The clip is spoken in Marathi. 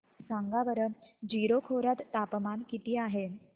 सांगा बरं जीरो खोर्यात तापमान किती आहे